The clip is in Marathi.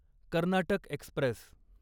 कर्नाटक एक्स्प्रेस